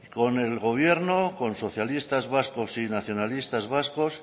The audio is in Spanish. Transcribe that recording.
con el gobierno con socialistas vascos y nacionalistas vascos